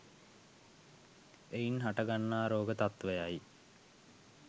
එයින් හට ගන්නා රෝග තත්වයයි.